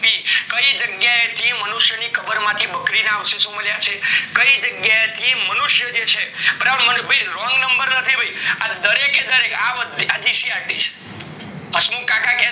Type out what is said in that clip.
કઇ જગ્યા એ થી મનુષ્ય ની કબર માંથી બકરી ના અવ્શેહો મળ્યા છે, કાય જગ્યાએથી મનુષ્ય જે છે બરાબર wrong number નથી ન્હ્ય આ દરેક એ દરેક GCRT છે બસ